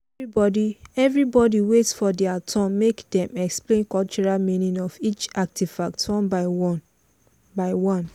everybody wait for their turn make dem explain cultural meaning of each artifact one by one by one.